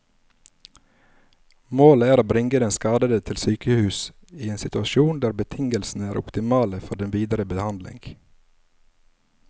Målet er å bringe den skadede til sykehus i en situasjon der betingelsene er optimale for den videre behandling.